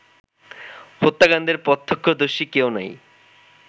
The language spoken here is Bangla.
হত্যাকাণ্ডের প্রত্যক্ষদর্শী কেউ নেই